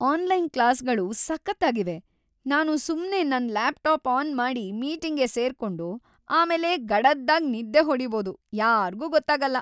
Online ಕ್ಲಾಸ್‌ಗಳು ಸಖತ್ತಾಗಿವೆ. ನಾನು ಸುಮ್ನೇ ನನ್ ಲ್ಯಾಪ್ಟಾಪ್ ಆನ್ ಮಾಡಿ ಮೀಟಿಂಗ್‌ಗೆ ಸೇರ್ಕೊಂಡು ಆಮೇಲೆ ಗಡದ್ದಾಗಿ ನಿದ್ದೆ ಹೊಡೀಬೋದು.. ಯಾರ್ಗೂ ಗೊತ್ತಾಗಲ್ಲ.